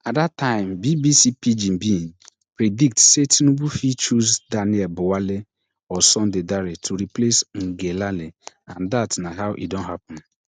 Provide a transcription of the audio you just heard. at dat time BBC pidgin bin predict say tinubu fit choose daniel buwale or sunday dare to replace ngelale and dat na how e don happen